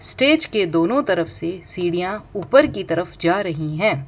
Stage के दोनों तरफ से सीढ़ियां ऊपर की तरफ जा रहीं हैं।